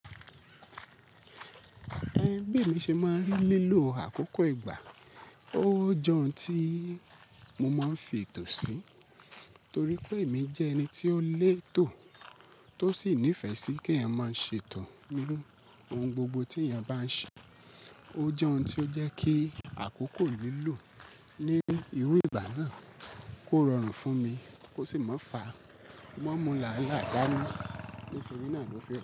Ẹ bí mi ṣe máa ń rí lílò àkókò ìgbà. Ó jẹun tí mo máa ń fi ètò sí, torí pé èmi jẹ́ ẹni tí ó lè tò tó sì nífẹ̀ẹ́ sí kí èèyàn máa ṣe ètò nínú ohun gbogbo tí èèyàn bá ń ṣe. Ó jẹ́ ohun tí ó jẹ́ kí àkókò lílò ní irú ìgbà náà kó rọrùn fún mi, kó sì má fa mọ́ mú làálàá dání nítorí náà ló fẹ́.